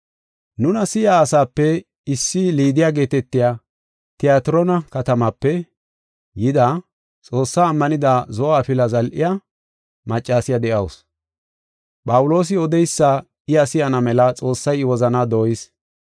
Nuna si7iya asape issi Liidiya geetetiya Tiyatroona katamaape yida, Xoossaa ammanida zo7o afila zal7iya, maccasiya de7awusu. Phawuloosi odeysa iya si7ana mela Xoossay I wozanaa dooyis.